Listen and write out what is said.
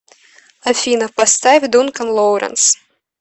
афина поставь дункан лоуренс